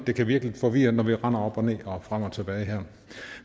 det kan virke lidt forvirrende når vi render op og ned og frem og tilbage her